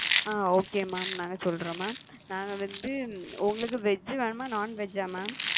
ஆ okay mam நாங்க சொல்றோம் mam நாங்க veg உங்களுக்கு veg வேணுமா non veg ஆ mam?